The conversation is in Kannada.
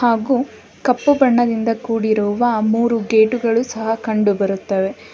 ಹಾಗು ಕಪ್ಪು ಬಣ್ಣದಿಂದ ಕೂಡಿರುವ ಮೂರು ಗೇಟುಗಳು ಸಹ ಕಂಡು ಬರುತ್ತವೆ.